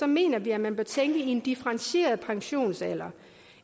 mener vi at man bør tænke i en differentieret pensionsalder